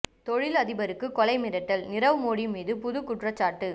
தொழில் அதிபருக்கு கொலை மிரட்டல் நிரவ் மோடி மீது புது குற்றச்சாட்டு